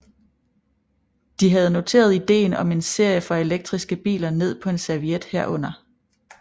De havde noteret idéen om en serie for elektriske biler ned på en serviet herunder